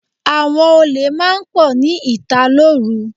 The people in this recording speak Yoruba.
Àwọn olè máa ń pọ̀ ní ìta lóru.